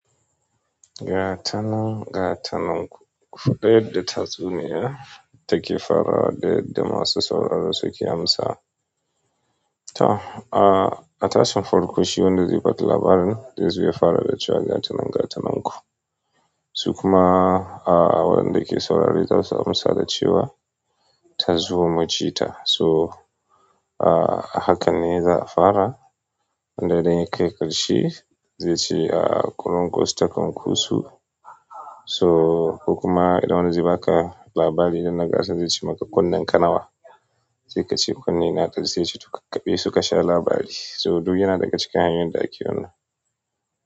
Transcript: Gatana, gatanan ku. Kuɗaɗe da tazuniya take fara da da masu sauraro suke amsa. Ta a, a tashin farko shi wanda zai ba da labarin dai zo ya fara da cewa gatana gatananku. Su kuma a waɗanda ke saurare za su amsa da cewa tazi mu jia. So a haka ne za'a fara. Inda idan ya kai ƙarshe zai ci a ƙurun ƙus takan ku su. So ku kuma idan wani zai baka labari idan na gaskata zai ci maka kunnen kanawa. Zai ka ce kunne na kam sai yace to kula kabe su ka sha labari. So duk yana daga cikin hanyoyin da ake wannan.